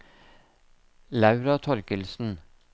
Laura Torkildsen